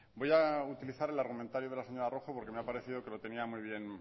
voy a utilizar el argumentario de la señora rojo porque me ha parecido que lo tenía muy bien